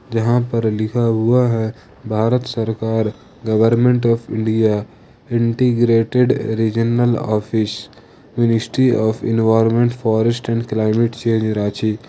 यहां पर लिखा हुआ है भारत सरकार government of India integrated regional office ministry of environment forest and climate change Ranchi.